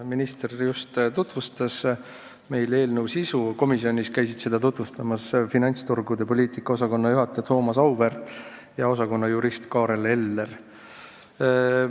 Minister just tutvustas meile eelnõu sisu, komisjonis käisid seda tutvustamas Rahandusministeeriumi finantsturgude poliitika osakonna juhataja Thomas Auväärt ja osakonna jurist Kaarel Eller.